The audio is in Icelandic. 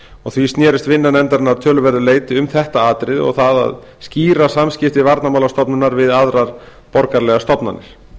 og því snerist vinna nefndarinnar að töluverðu leyti um þetta atriði og það að skýra samskipti varnarmálastofnunar við aðrar borgaralegar stofnanir